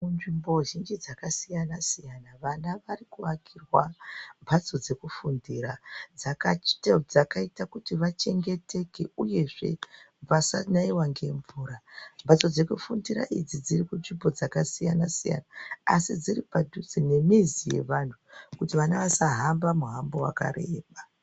Kunzvimbo zhinji dzakasiyana siyana vana vari kuakirwa mhatso dzekufundira dzakaita kuti vachengeteke uyezve vasanaiwa ngemvura. Mhatso dzekufundira idzi dziri kunzvimbo dzakasiyana siyana asi dziri padhuze nemizi yeantu kuti vana vasahamba mihambo yakareba.